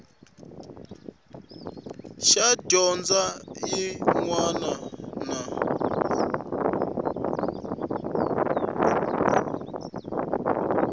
xa dyondzo xin wana na